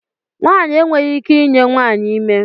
Nwanyị enweghị ike I nye nwanyị ime.